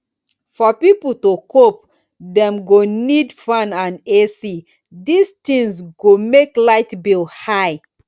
for pipo to cope dem go need fan and ac this things go make light bill high